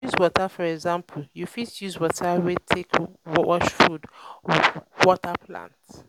reuse water for example you fit use water wey you take wash food water plant